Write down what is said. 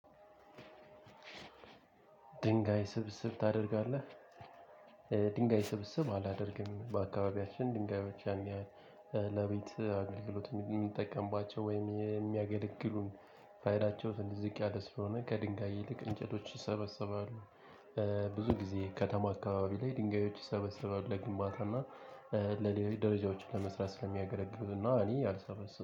ድንጋይ ስብስብ ታደርጋለህ? ድንጋይ ስብስብ አላደርግም በአከባቢያችን ድንጋዮች ያን ያህን ለቤት አገልግሎት የሚጠቀምባቸም ወይም የሚያገለግሉ ፋይዳቸው ትንሽ ዝቅ ያለ ስለሆነ ከድንጋይ ይልቅ እንጨቶች ይሰበሰባሉ። ብዙ ጊዜ ከተማ አካባቢ ላይ ድንጋዮች ይሰበሰባሉ ለግንባታና ለሌሎች ደረጃዎችን ለመስራት ስለሚያገለግሉና እኔ አልሰበስብም